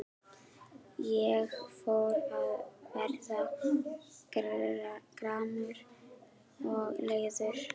Ég fór að verða gramur og leiður.